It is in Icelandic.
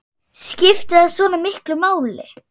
Skiptir það svona miklu máli?